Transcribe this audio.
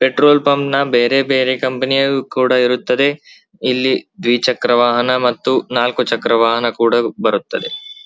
Petrol ಪಂಪ್ನ ಬೇರೆ ಬೇರೆ ಕಂಪನಿಯು ಕೂಡ ಇರುತ್ತದೆ ಇಲ್ಲಿ ದ್ವಿಚಕ್ರ ವಾಹನ ಮತ್ತು ನಾಲಕ್ಕು ಚಕ್ರ ವಾಹನ ಕೂಡ ಬರುತ್ತದೆ.